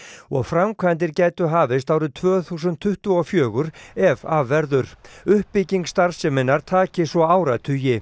og framkvæmdir gætu hafist árið tvö þúsund tuttugu og fjögur ef af verður uppbygging starfseminnar taki svo áratugi